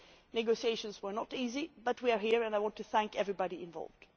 Negotiations were not easy but we are here and I want to thank everybody involved.